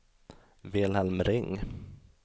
Wilhelm Ring